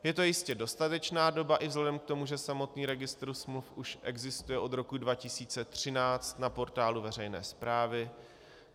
Je to jistě dostatečná doba i vzhledem k tomu, že samotný registr smluv už existuje od roku 2013 na portálu veřejné správy.